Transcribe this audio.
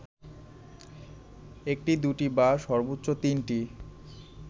একটি, দুটি বা সর্বোচ্চ তিনটি